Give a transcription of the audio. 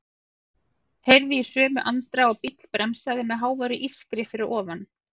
Heyrði í sömu andrá að bíll bremsaði með háværu ískri fyrir ofan.